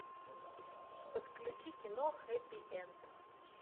подключи кино хэппи энд